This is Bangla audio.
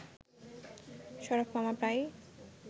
শরাফ মামা প্রায়ই